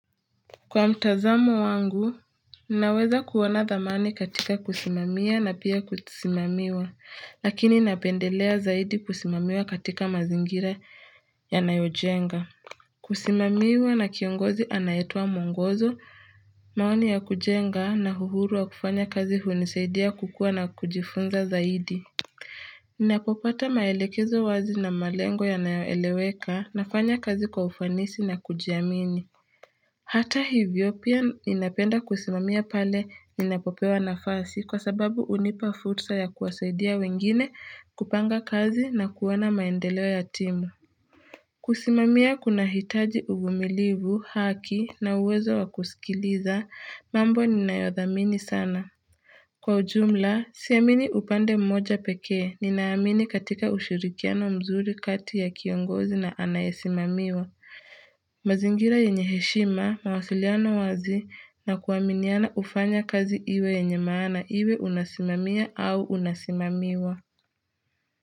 Kwa mtazamo wangu, ninaweza kuona dhamani katika kusimamiwa na pia kusimamiwa, lakini napendelea zaidi kusimamiwa katika mazingira ya nayojenga. Kusimamiwa na kiongozi anayetoa mwongozo, maoni ya kujenga na uhuru wa kufanya kazi hunisaidia kukua na kujifunza zaidi. Ninapopata maelekezo wazi na malengo ya nayoeleweka, nafanya kazi kwa ufanisi na kujiamini. Hata hivyo pia ninapenda kusimamia pale ninapopewa nafasi kwa sababu hunipa fursa ya kuwasaidia wengine kupanga kazi na kuona maendeleo ya timu. Kusimamia kunahitaji uvumilivu, haki na uwezo wa kusikiliza mambo ninayodhamini sana. Kwa ujumla, siamini upande mmoja pekee, ninaamini katika ushirikiano mzuri kati ya kiongozi na anayesimamiwa. Mazingira yenye heshima mawasiliano wazi na kuaminiana hufanya kazi iwe yenye maana iwe unasimamiya au unasimamiwa.